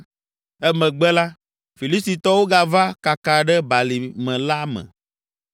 Emegbe la, Filistitɔwo gava kaka ɖe balime la me.